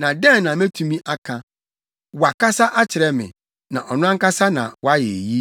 Na dɛn na metumi aka? Wakasa akyerɛ me, na ɔno ankasa na wayɛ eyi.